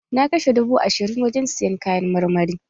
Na kashe dubu ashirin wurin sayan kayan marmari